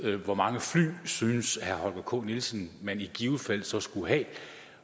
hvor mange fly synes herre holger k nielsen man i givet fald så skulle have